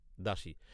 দাসী।